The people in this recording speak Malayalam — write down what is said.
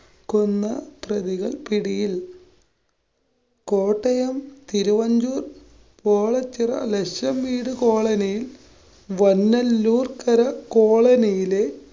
കൊന്ന പ്രതികള്‍ പിടിയില്‍. കോട്ടയം തിരുവഞ്ചൂര്‍ കോളചിറ ലക്ഷംവീട് കോളനിയില്‍ വന്നല്ലൂര്‍ക്കര കോളനിയിലെ